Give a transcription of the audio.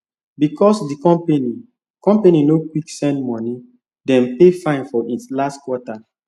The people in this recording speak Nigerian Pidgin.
because the company company no quick send money dem pay fine for it last quarter